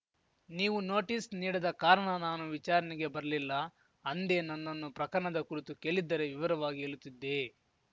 ನೀವು ನೋಟಿಸ್‌ ನೀಡದ ಕಾರಣ ನಾನು ವಿಚಾರಣೆಗೆ ಬರಲಿಲ್ಲ ಅಂದೇ ನನ್ನನ್ನು ಪ್ರಕರಣದ ಕುರಿತು ಕೇಲಿದ್ದರೆ ವಿವರವಾಗಿ ಹೇಲುತ್ತಿದ್ದೆ